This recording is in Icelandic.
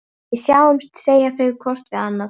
Við sjáumst, segja þau hvort við annað.